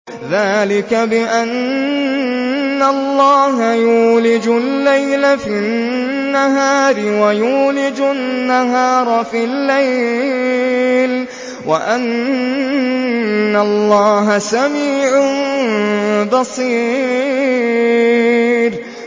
ذَٰلِكَ بِأَنَّ اللَّهَ يُولِجُ اللَّيْلَ فِي النَّهَارِ وَيُولِجُ النَّهَارَ فِي اللَّيْلِ وَأَنَّ اللَّهَ سَمِيعٌ بَصِيرٌ